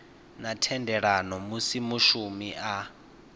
na thendelano musi mushumi a